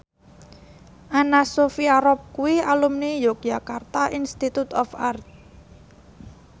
Anna Sophia Robb kuwi alumni Yogyakarta Institute of Art